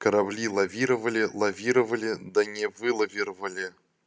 корабли лавировали лавировали да не вылавировали